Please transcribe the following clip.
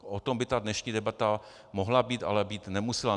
O tom by ta dnešní debata mohla být, ale být nemusela.